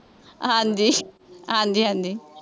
ਹਾਂਜੀ ਹਾਂਜੀ ਹਾਂਜੀ,